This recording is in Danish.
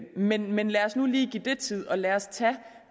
men men lad os nu lige give det tid og lad os tage